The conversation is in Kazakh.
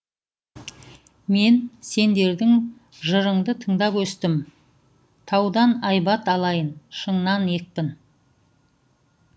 мен сендердің жырыңды тыңдап өстім таудан айбат алайын шыңнан екпін